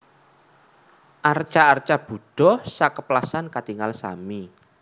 Arca arca Budha sakeplasan katingal sami